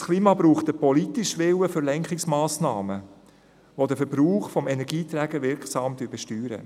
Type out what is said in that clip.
Unser Klima braucht den politischen Willen für Lenkungsmassnahmen, die den Verbrauch von Energieträgern wirksam besteuern.